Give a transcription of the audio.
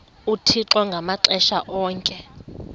uthixo ngamaxesha onke